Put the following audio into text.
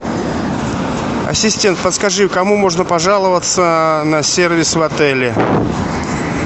ассистент подскажи кому можно пожаловаться на сервис в отеле